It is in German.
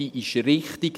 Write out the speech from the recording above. Sie ist richtig.